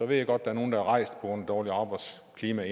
ved godt at nogle er rejst på grund af dårligt arbejdsklima